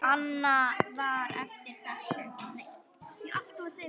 Annað var eftir þessu.